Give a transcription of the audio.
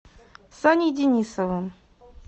саней денисовым